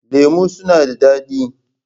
Lemu suna da dadi.